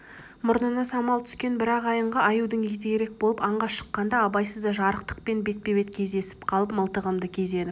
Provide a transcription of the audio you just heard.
мұрнына самал түскен бір ағайынға аюдың өті керек болып аңға шыққанда абайсызда жарықтықпен бетпе-бет кездесіп қалып мылтығымды кезеніп